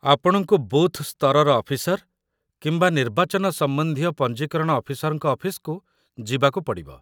ଆପଣଙ୍କୁ ବୁଥ୍ ସ୍ତରର ଅଫିସର କିମ୍ବା ନିର୍ବାଚନ ସମ୍ବନ୍ଧୀୟ ପଞ୍ଜୀକରଣ ଅଫିସରଙ୍କ ଅଫିସ୍‌କୁ ଯିବାକୁ ପଡ଼ିବ